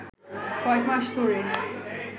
কয়েক মাস ধরে